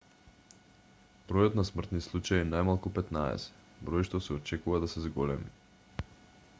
бројот на смртни случаи е најмалку 15 број што се очекува да се зголеми